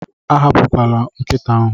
Atọhapụla nkịta ahụ.